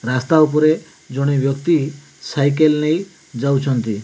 ରାସ୍ତା ଉପରେ ଜଣେ ବ୍ୟକ୍ତି ସାଇକେଲ ନେଇ ଯାଉଛନ୍ତି।